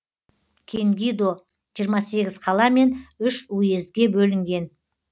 кенгидо жиырма сегіз қала мен үш уездке бөлінген